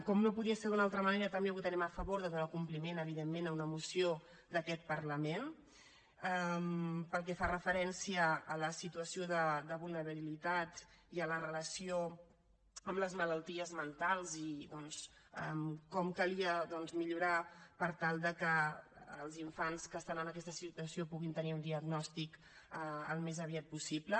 com no podia ser d’una altra manera també votarem a favor de donar compliment evidentment a una moció d’aquest parlament pel que fa referència a la situació de vulnerabilitat i a la relació amb les malalties mentals i doncs com calia doncs millorar per tal que els infants que estan en aquesta situació puguin tenir un diagnòstic al més aviat possible